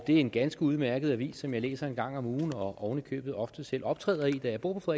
er en ganske udmærket avis som jeg læser en gang om ugen og oven i købet ofte selv optræder i da jeg bor på